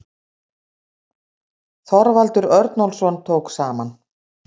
Þorvaldur Örnólfsson tók saman.